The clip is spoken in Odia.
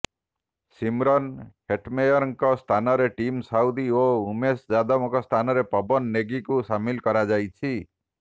ଶିମରନ ହେଟମେୟରଙ୍କ ସ୍ଥାନରେ ଟିମ୍ ସାଉଦି ଓ ଉମେଶ ଯାଦବଙ୍କ ସ୍ଥାନରେ ପବନ ନେଗିଙ୍କୁ ସାମିଲ କରାଯାଇଛି